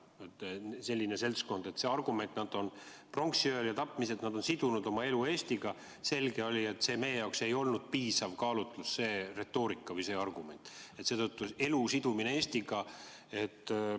Selline seltskond, kes on pronksiöö ajal märatsenud ja tapnud, ning argument, et ollakse sidunud oma elu Eestiga – oli selge, et meie jaoks ei olnud retoorika või argument, et elu on seotud Eestiga, piisav.